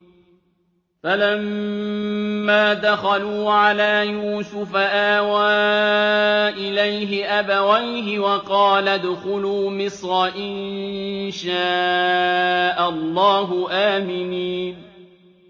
فَلَمَّا دَخَلُوا عَلَىٰ يُوسُفَ آوَىٰ إِلَيْهِ أَبَوَيْهِ وَقَالَ ادْخُلُوا مِصْرَ إِن شَاءَ اللَّهُ آمِنِينَ